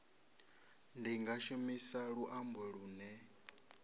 ni nga shumisa luambo lune